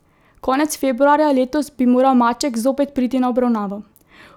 Konec februarja letos bi moral Maček zopet priti na obravnavo.